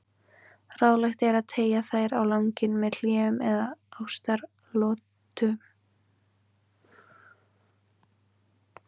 Ráðlegt er að teygja þær á langinn með hléum eða ástaratlotum.